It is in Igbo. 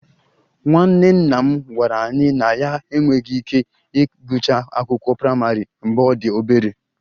Nwanne nna m gwara anyị na ya enweghị ike ịgụcha akwụkwọ praịmarị mgbe ọ dị obere